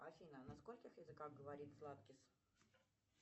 афина на скольких языках говорит сладкис